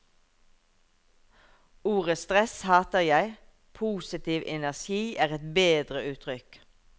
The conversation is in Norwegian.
Ordet stress hater jeg, positiv energi er et bedre uttrykk.